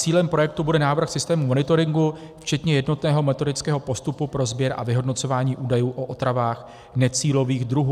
Cílem projektu bude návrh systému monitoringu včetně jednotného metodického postupu pro sběr a vyhodnocování údajů o otravách necílových druhů.